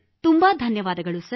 ತುಂಬ ಧನ್ಯವಾದಗಳು ಸರ್